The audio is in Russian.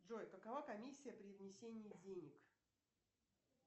джой какова комиссия при внесении денег